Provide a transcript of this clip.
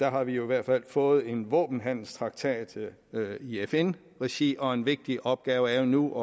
har vi jo i hvert fald fået en våbenhandelstraktat i fn regi og en vigtig opgave er jo nu